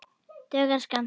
Dugar skammt.